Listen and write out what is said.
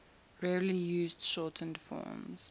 rarely used shortened forms